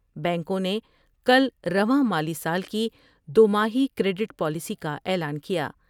بینکوں نے کل رواں مالی سال کی دوماہی کریڈٹ پالیسی کا اعلان کیا ۔